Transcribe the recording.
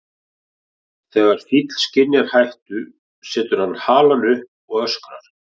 Þegar fíll skynjar hættu setur hann halann upp og öskrar.